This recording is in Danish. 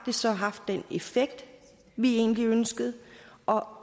det så har haft den effekt vi egentlig ønsker og om